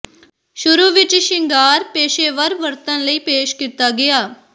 ਸ਼ੁਰੂ ਵਿਚ ਸ਼ਿੰਗਾਰ ਪੇਸ਼ੇਵਰ ਵਰਤਣ ਲਈ ਪੇਸ਼ ਕੀਤਾ ਗਿਆ